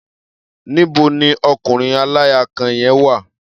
Níbo ni ọkùnrin aláya kan yẹn wà?